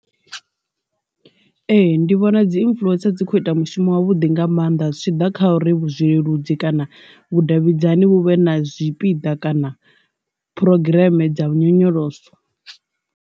Ee, ndi vhona dzi influencer dzi kho ita mushumo wa vhuḓi nga maanḓa zwitshiḓa kha uri vhu zwileludzi kana vhudavhidzani vhu vhe na zwipiḓa kana phurogireme dza vhu nyonyoloso.